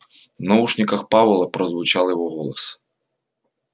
в наушниках пауэлла прозвучал его голос